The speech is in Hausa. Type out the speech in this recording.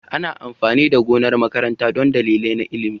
Ana amfani da gonar makaranta don dalilai na ilimi.